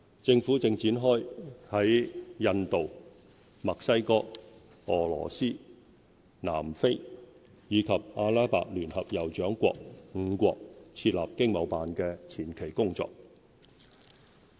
政府正展開在印度、墨西哥、俄羅斯、南非，以及阿拉伯聯合酋長國5國設立經貿辦的前期工作。